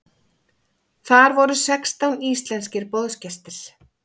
Þar voru sextán íslenskir boðsgestir.